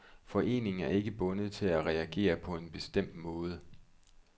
Foreningen er ikke bundet til at reagere på en bestemt måde.